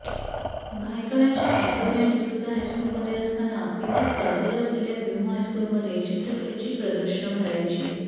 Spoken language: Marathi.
भायखळ्याच्या अँटोनिया डिसुझा हायस्कूलमध्ये असताना तिथेच बाजूला असलेल्या ह्युम हायस्कूलमध्ये चित्रकलेची प्रदर्शनं भरायची